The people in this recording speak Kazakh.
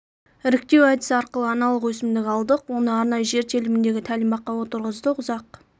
іріктеу әдісі арқылы аналық өсімдік алдық оны арнайы жер теліміндегі тәлімбаққа отырғыздық ұзақ